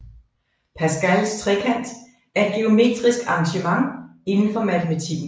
Pascals trekant er et geometrisk arrangement indenfor matematikken